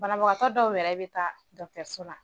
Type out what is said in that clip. Banabagatɔ dɔw yɛrɛ bɛ taa dɔgɔtɔrɔso la